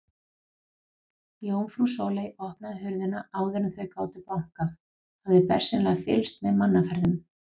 Jómfrú Sóley opnaði hurðina áður en þau gátu bankað, hafði bersýnilega fylgst með mannaferðum.